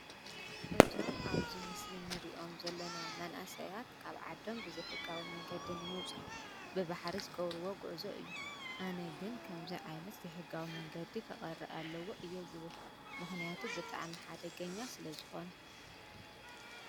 እዞም ኣብዚ ምስሊ እንሪኦም ዘለና መናእሰያት ካብ ዓዶም ብዘይሕጋዊ መንገዲ ንምውፃእ ብባሕሪ ዝገብርዎ ጉዕዞ እዩ፡፡ ኣነ ግን ከምዚ ዓይነት ዘይሕጋዊ መንገዲ ክቀሪ ኣለዎ እየ ዝብል ምክንያቱ ብጣዕሚ ሓደገኛ ስለዝኮነ፡፡